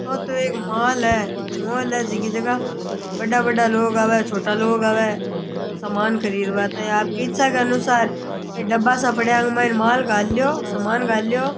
ओ तो एक मॉल है मॉल है जीकी जगह बड़ा बड़ा लोग आवै छोटा लोग आवै सामान खरीद बा ताही आपकी इच्छा के अनुसार ए डब्बा सा पड़या आंके माइनै माल घाल ल्यो सामान घाल ल्यो।